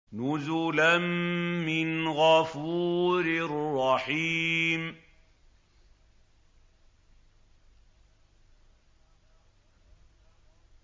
نُزُلًا مِّنْ غَفُورٍ رَّحِيمٍ